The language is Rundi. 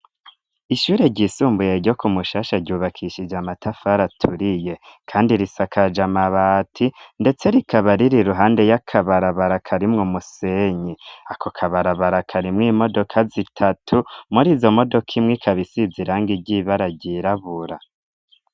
Ishure ryisumbuyehe ryo ku mushasha ryubakishije amatafari aturiye kandi risakaja mabati ndetse rikaba riri ruhande y'akabarabara karimwo umusenyi ako kabarabara ka rimwe imodoka zitatu muri izo modoka imwe ikaba isizirang iry'ibara ryirabura.